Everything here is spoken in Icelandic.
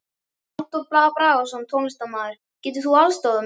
Halldór Bragason, tónlistarmaður: Getur þú aðstoðað mig?